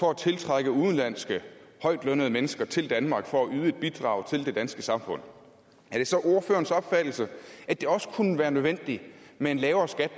for at tiltrække udenlandske højtlønnede mennesker til danmark for at yde et bidrag til det danske samfund er det så ordførerens opfattelse at det også kunne være nødvendigt med en lavere skat